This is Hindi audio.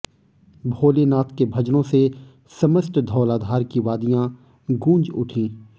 भोले नाथ के भजनों से समस्त धौलाधार की वादियां गूंज उठी